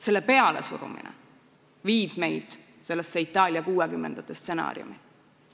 Selle pealesurumine viib Itaalia kuuekümnendate aastate stsenaariumi juurde.